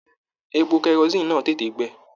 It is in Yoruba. Èpò kerosiini náà tètè gbẹ.